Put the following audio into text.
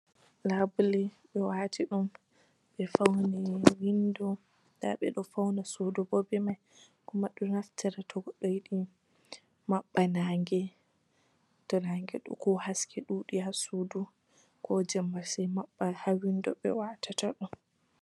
Laabule ɓe wati ɗum. Ɓe fauni windo, nda ɓe ɗo fauna suudu bo ɓe man. Kuma do naftira to goddo yiɗi maɓɓa naa'nge; to naa'nge ko haske ɗuɗi ha suudu ko jemme se maɓɓa ha windo watata ɗum.